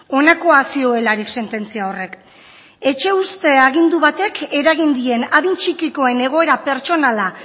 honakoa zioelarik sententzia horrek etxe uzte agindu batek eragin dien adin txikikoen egoera pertsonala